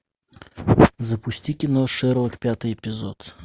запусти кино шерлок пятый эпизод